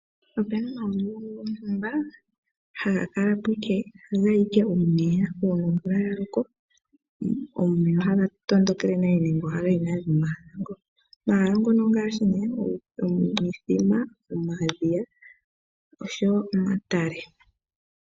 Opena omahala ngono, haga kala po ashike gaye omeya gomvula. Uuna omvula yaloko, omeya ohaga tondokele nale nenge ohagayi momahala mono. Omahala ngono ongaashi ne, omithima, omadhiya, noshowo omatale.